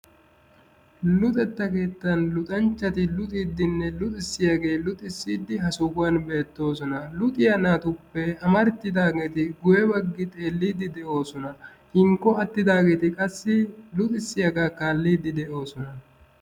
Luxetta keettaan luxxanchchati luxxidinne luxxissiyagee luxxissidi ha sohuwan bettoosona. Luxiyaa naatuppe amaratidaageti guye baggi xeellidi de'oosona. Hinkko attidaageeti qassi luxxissiyaagaa kaallidi de'oosona.